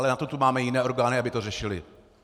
Ale na to tu máme jiné orgány, aby to řešily.